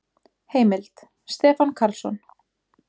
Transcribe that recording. Heimild: Stefán Karlsson.